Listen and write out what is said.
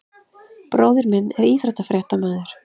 Bróðir minn er íþróttafréttamaður.